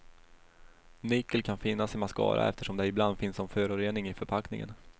Nickel kan finnas i mascara eftersom det ibland finns som förorening i förpackningen.